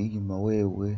inyuma wewe.